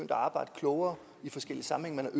at arbejde klogere i forskellige sammenhænge man